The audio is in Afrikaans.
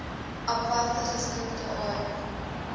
aparte geskikte area